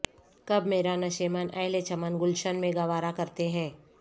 کب میرا نشیمن اہل چمن گلشن میں گوارا کرتے ہیں